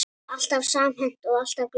Alltaf samhent og alltaf glöð.